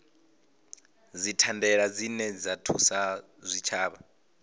dzithandela dzine dza thusa zwitshavha